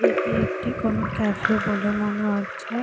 এটি একটি কোনো কাফে বলে মনে হচ্ছে।